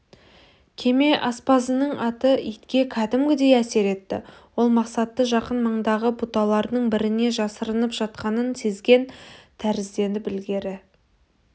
кеме аспазының аты итке кәдімгідей әсер етті ол мақсатты жақын маңдағы бұталардың біріне жасырынып жатқанын сезген тәрізденіп ілгері